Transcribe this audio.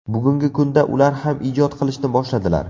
Bugungi kunda ular ham ijod qilishni boshladilar.